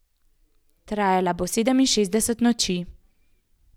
Trajala bo sedeminšestdeset noči.